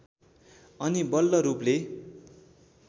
अनि बल्ल रूपले